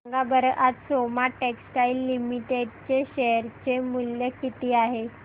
सांगा बरं आज सोमा टेक्सटाइल लिमिटेड चे शेअर चे मूल्य किती आहे